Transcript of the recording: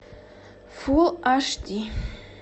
фулл аш ди